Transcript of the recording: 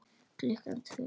Klukkan tvö.